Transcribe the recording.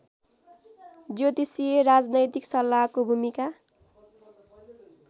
ज्योतिषीय राजनैतिक सल्ला‍हको भुमिका